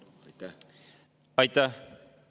Aitäh!